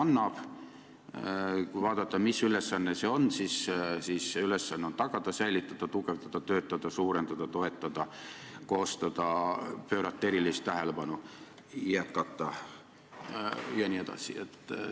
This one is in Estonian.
Ja kui vaadata, mis ülesanne see on, siis see on tagada, säilitada, tugevdada, töötada, suurendada, toetada, koostada, pöörata erilist tähelepanu, jätkata jne.